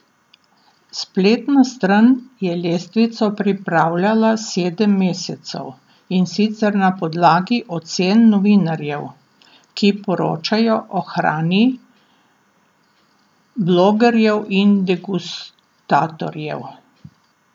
Spletna stran je lestvico pripravljala sedem mesecev, in sicer na podlagi ocen novinarjev, ki poročajo o hrani, blogerjev in degustatorjev.